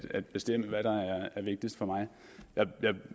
at bestemme hvad der er vigtigst for mig